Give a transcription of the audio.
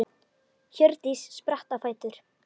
Hjördís spratt á fætur.